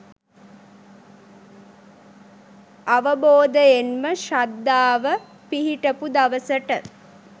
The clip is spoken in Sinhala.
අවබෝධයෙන්ම ශ්‍රද්ධාව පිහිටපු දවසට